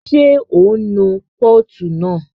Ṣé o nu pọ́ọ̀tù náà?